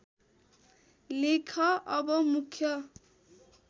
लेख अब मुख्य